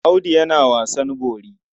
Audu yana wasan bori.